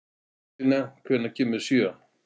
Angelína, hvenær kemur sjöan?